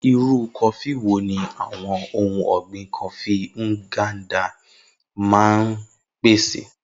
Irú kọfí wo ni àwọn ohun ọ̀gbìn Kọfí Nganda máa ń pèsè?